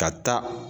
Ka taa